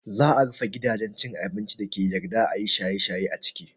Za a rufe gidajen cin abincin dake yarda ayi shaye shaye a ciki